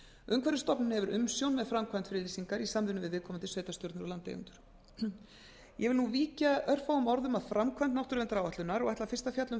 umhverfisstofnun hefur umsjón með framkvæmd friðlýsingar í samvinnu við viðkomandi sveitarstjórnir og landeigendur ég vil nú víkja nokkrum orðum að framkvæmd náttúruverndaráætlunar og ætla fyrst að fjalla um framkvæmd